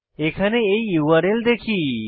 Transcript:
এখানে এই ইউআরএল দেখি